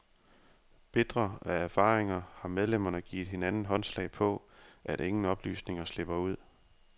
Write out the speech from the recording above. Bitre af erfaringer har medlemmerne givet hinanden håndslag på, at ingen oplysninger slipper ud.